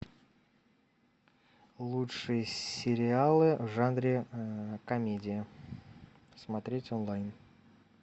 лучшие сериалы в жанре комедия смотреть онлайн